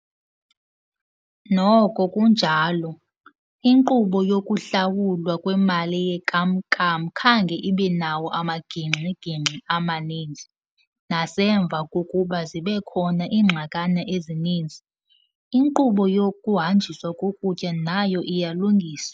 Noko kunjalo, iinkqubo yokuhlawulwa kwemali yenkam-nkam khange ibe nawo amagingxi-gingxi amaninzi, nasemva kokuba zibekhona iingxakana ezininzi, inkqubo yokuhanjiswa kokutya nayo iyalungiswa.